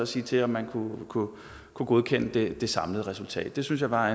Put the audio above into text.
sige til om man kunne kunne godkende det samlede resultat det synes jeg var